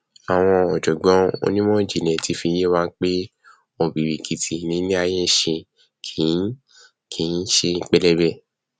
àwọn ọjọgbọn onímọjìnlẹ ti fi yé wa pé ọbìrìkìtì ni iléaiyé nṣe kìí kìí ṣe pẹlẹbẹ